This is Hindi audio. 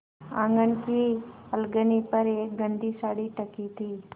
आँगन की अलगनी पर एक गंदी साड़ी टंगी थी